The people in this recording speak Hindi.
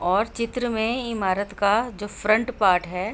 और चित्र में इमारत का जो फ्रंट पार्ट है --